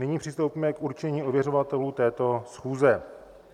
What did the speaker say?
Nyní přistoupíme k určení ověřovatelů této schůze.